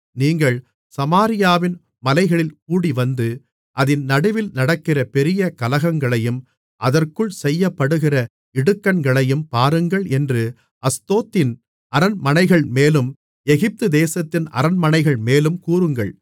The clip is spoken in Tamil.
நீங்கள் சமாரியாவின் மலைகளில் கூடிவந்து அதின் நடுவில் நடக்கிற பெரிய கலகங்களையும் அதற்குள் செய்யப்படுகிற இடுக்கண்களையும் பாருங்கள் என்று அஸ்தோத்தின் அரண்மனைகள்மேலும் எகிப்துதேசத்தின் அரண்மனைகள்மேலும் கூறுங்கள்